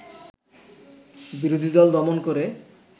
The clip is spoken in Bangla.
বিরোধী দল দমন করে